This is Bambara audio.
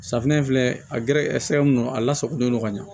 Safunɛ in filɛ a gɛrɛsɛ mun don a lasagolen don ka ɲa